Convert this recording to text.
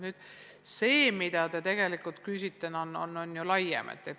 Nüüd see, mida te tegelikult küsite, on ju laiem teema.